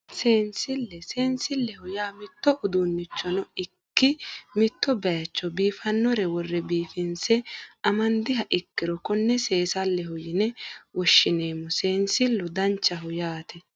Seensille seensilleho yaa mitto uduunnichono ikki mitto baycho biifannore worre biifinse amandiha ikkiro konne seensilleho yine woshineemmo seensillu danchaho yaate